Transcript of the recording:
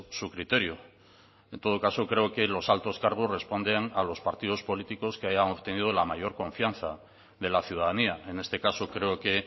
su criterio en todo caso creo que los altos cargos responden a los partidos políticos que hayan obtenido la mayor confianza de la ciudadanía en este caso creo que